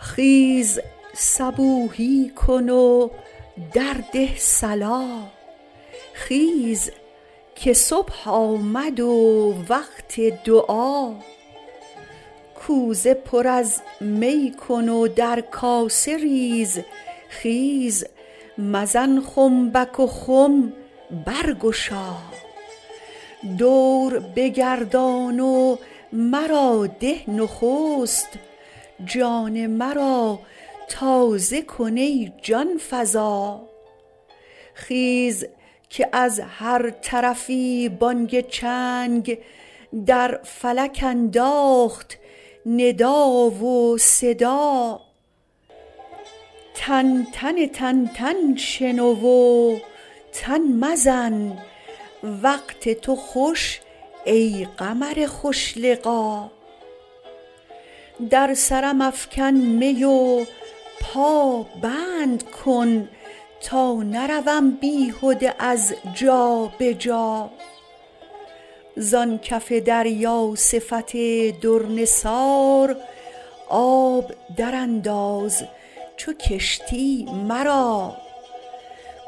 خیز صبوحی کن و درده صلا خیز که صبح آمد و وقت دعا کوزه پر از می کن و در کاسه ریز خیز مزن خنبک و خم برگشا دور بگردان و مرا ده نخست جان مرا تازه کن ای جان فزا خیز که از هر طرفی بانگ چنگ در فلک انداخت ندا و صدا تنتن تنتن شنو و تن مزن وقت تو خوش ای قمر خوش لقا در سرم افکن می و پابند کن تا نروم بیهده از جا به جا زان کف دریا صفت در نثار آب درانداز چو کشتی مرا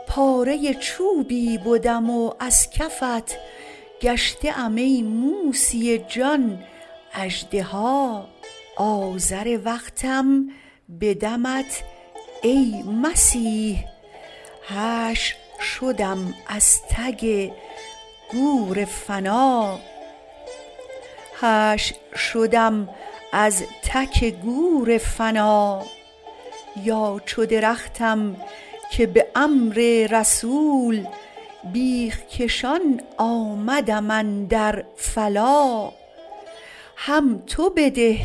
پاره چوبی بدم و از کفت گشته ام ای موسی جان اژدها عازر وقتم به دمت ای مسیح حشر شدم از تک گور فنا یا چو درختم که به امر رسول بیخ کشان آمدم اندر فلا هم تو بده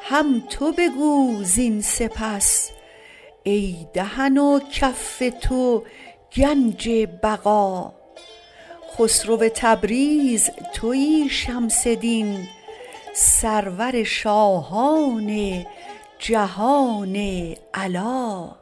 هم تو بگو زین سپس ای دهن و کف تو گنج بقا خسرو تبریز توی شمس دین سرور شاهان جهان علا